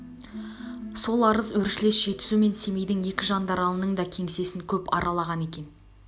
сол арыз өршілес жетісу мен семейдің екі жандаралының да кеңсесін көп аралаған екен